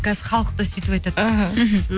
қазір халық та сөйтіп айтады аха